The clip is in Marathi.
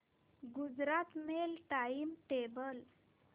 Gujarat mail time table